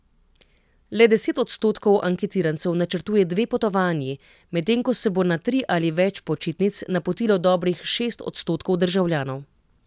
Le deset odstotkov anketirancev načrtuje dve potovanji, medtem ko se bo na tri ali več počitnic napotilo dobrih šest odstotkov državljanov.